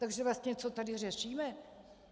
Takže vlastně, co tady řešíme?